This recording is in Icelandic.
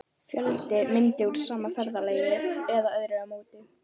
Fjöldi mynda úr sama ferðalagi eða öðrum ámóta.